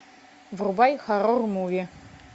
врубай хоррор муви